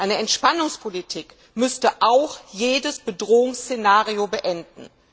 Eine Entspannungspolitik müsste auch jedes Bedrohungsszenario beenden.